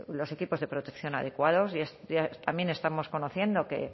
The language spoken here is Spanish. los equipos de protección adecuados y también estamos conociendo que